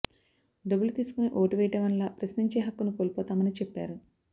డబ్బులు తీసుకుని ఓటు వేయటం వల్ల ప్రశ్నించే హక్కును కోల్పోతామని చెప్పారు